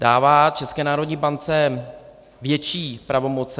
Dává České národní bance větší pravomoci.